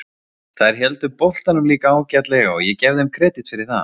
Þær héldu boltanum líka ágætlega og ég gef þeim kredit fyrir það.